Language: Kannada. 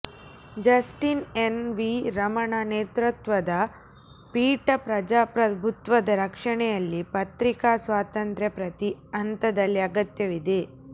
ಜಸ್ಟಿನ್ ಎನ್ ವಿ ರಮಣ ನೇತೃತ್ವದ ಪೀಠ ಪ್ರಜಾಪ್ರಭುತ್ವದ ರಕ್ಷಣೆಯಲ್ಲಿ ಪತ್ರಿಕಾ ಸ್ವಾತಂತ್ರ್ಯ ಪ್ರತಿ ಹಂತದಲ್ಲಿ ಅಗತ್ಯವಿದೆ